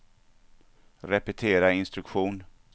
repetera instruktion